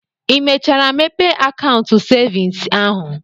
Ị mechara mepee akaụntụ cevins ahụ?